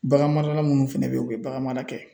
Bagan marala minnu fɛnɛ be yen, u be bagan mara kɛ